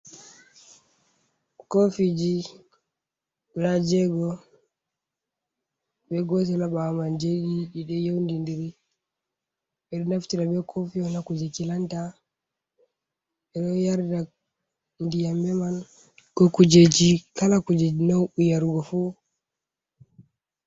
Koofiji guda jeego be gotel ha ɓaawo man jei ɗiɗi ɗi ɗo yondindiri, ɓe ɗo naftira be kofi ha kuje kilanta, ɓe ɗo yarda ndiyam be man, ko kujeji kala kujeji na'u yargo fu.